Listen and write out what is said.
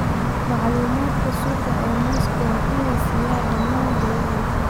Macluumaadka suuqa ee mooska waa in la siiyaa dhammaan beeralayda.